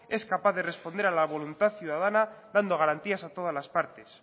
es capaz de responder a la voluntad ciudadana dando garantías a todas las partes